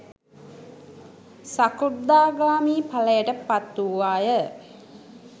සකෘදාගාමි ඵලයට පත් වූවා ය.